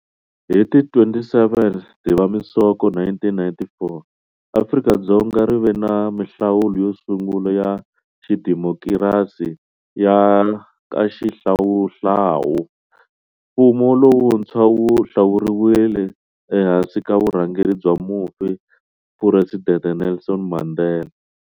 Hi ti 27 Dzivamisoko 1994, Afrika-Dzonga ri ve na mihlawulo yo sungula ya xidemokirasi ya nkaxihlawuhlawu. Mfumo lowuntshwa wu hlawuriwile ehansi ka vurhangeri bya mufi Phuresidente Nelson Mandela.